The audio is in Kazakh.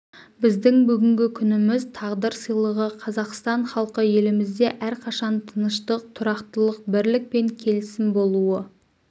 біздің бүгінгі күніміз тағдыр сыйлығы қазақстан халқы елімізде әрқашан тыныштық тұрақтылық бірлік пен келісім болуы